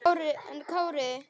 Elsa sat aldrei auðum höndum.